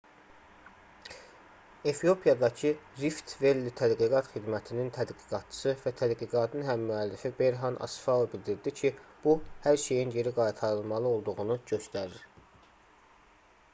efiopiyadakı rift-velli tədqiqat xidmətinin tədqiqatçısı və tədqiqatın həmmüəllifi berhan asfau bildirdi ki bu hər şeyin geri qaytarılmalı olduğunu göstərir